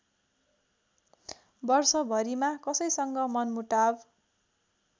वर्षभरिमा कसैसँग मनमुटाव